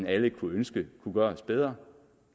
alle kunne ønske kunne gøres bedre